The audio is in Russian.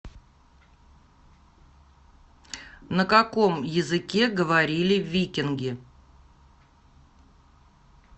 на каком языке говорили викинги